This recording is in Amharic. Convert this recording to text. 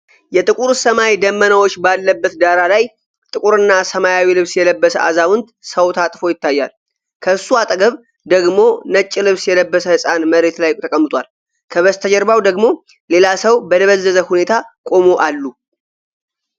የጥቁር ሰማይ ደመናዎች ባለበት ዳራ ላይ፣ ጥቁርና ሰማያዊ ልብስ የለበሰ አዛውንት ሰው ታጥፎ ይታያል። ከእሱ አጠገብ ደግሞ ነጭ ልብስ የለበሰ ህፃን መሬት ላይ ተቀምጧል። ከበስተጀርባው ደግሞ ሌላ ሰው በደበዘዘ ሁኔታ ቆሞ አሉ።